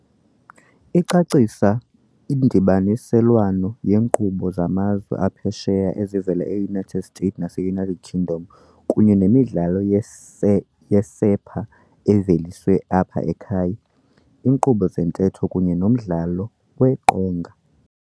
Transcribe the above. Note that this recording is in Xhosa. Icacisa indibaniselwano yeenkqubo zamazwe aphesheya ezivela eUnited States naseUnited Kingdom, kunye nemidlalo yeesepha eveliswe apha ekhaya, iinkqubo zentetho kunye nomdlalo weqonga.